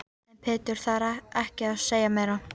En Pétur þarf ekki að segja meira.